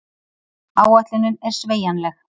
Áætlunin er sveigjanleg